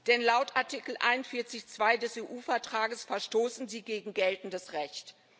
Denn laut Artikel 41 Absatz 2 des EU Vertrags verstoßen sie gegen geltendes Recht.